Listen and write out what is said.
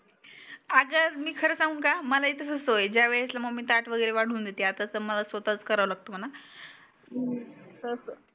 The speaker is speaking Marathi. आग मी खरं सांगू का मला ही तसच होये ज्यावडस मम्मी ताट वागेरे वाडून देते आता त मलाच स्वतः कारव लागत म्हना